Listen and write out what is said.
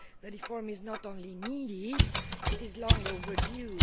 Reform is not only needed, it is long overdue.